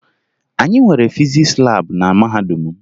Anyị nwere fizis laabụ na mahadum m